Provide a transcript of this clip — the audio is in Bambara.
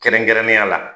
Kɛrɛnkɛrɛnnenya la